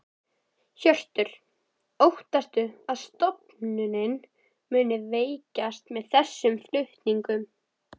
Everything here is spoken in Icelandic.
Hjörtur: Óttastu að stofnunin muni veikjast með þessum flutningum?